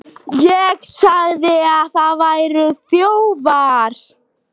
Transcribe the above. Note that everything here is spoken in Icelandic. ÉG SAGÐI AÐ ÞIÐ VÆRUÐ ÞJÓFAR.